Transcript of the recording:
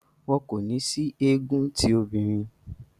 Wọn kò ní sí egun ti òbinrín.